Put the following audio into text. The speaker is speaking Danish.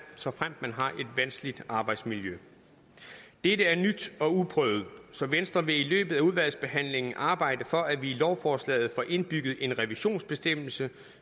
såfremt man har et vanskeligt arbejdsmiljø dette er nyt og uprøvet så venstre vil i løbet af udvalgsbehandlingen arbejde for at vi i lovforslaget får indbygget en revisionsbestemmelse